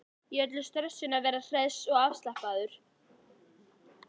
Í öllu stressinu að vera hress og afslappaður.